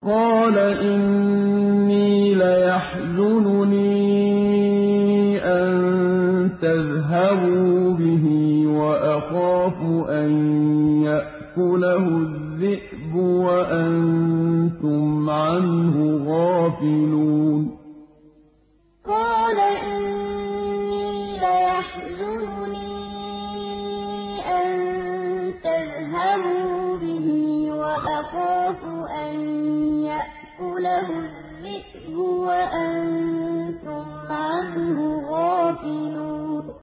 قَالَ إِنِّي لَيَحْزُنُنِي أَن تَذْهَبُوا بِهِ وَأَخَافُ أَن يَأْكُلَهُ الذِّئْبُ وَأَنتُمْ عَنْهُ غَافِلُونَ قَالَ إِنِّي لَيَحْزُنُنِي أَن تَذْهَبُوا بِهِ وَأَخَافُ أَن يَأْكُلَهُ الذِّئْبُ وَأَنتُمْ عَنْهُ غَافِلُونَ